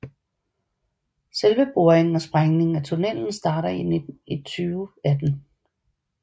Selve boringen og sprængingen af tunnelen starter i 2018